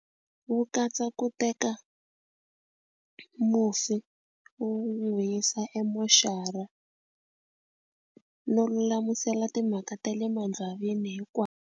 Wu katsa ku teka mufi wu n'wi yisa emoxara no lulamisela timhaka ta le .